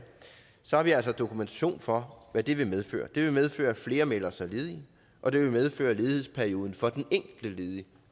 så har vi altså dokumentation for hvad det vil medføre det vil medføre at flere melder sig ledige og det vil medføre at ledighedsperioden for den enkelte ledige